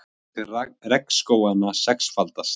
Eyðing regnskóganna sexfaldast